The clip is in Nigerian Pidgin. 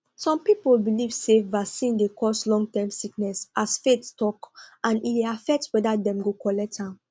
some people believe say vaccine dey cause longtime sickness as faith talk and e dey affect whether dem go collect am